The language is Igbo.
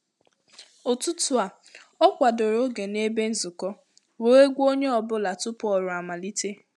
Ụ̀tụtụ̀ a, ọ kwadoro ògè na ebe nzukọ, wee gwa onye ọ bụla tupu ọrụ amalite